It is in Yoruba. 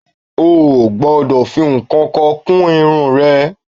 O ò gbọ́dọ̀ fi ǹkankan kún irun rẹ